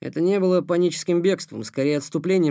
это не было паническим бегством скорее отступлением